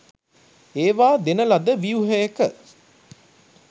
ඒවා දෙන ලද ව්‍යුහයක